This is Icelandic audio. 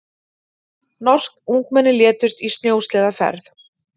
Norsk ungmenni létust í snjósleðaferð